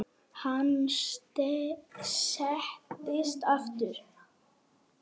Hann settist aftur.